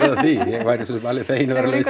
því ég væri svo sem alveg feginn að vera laus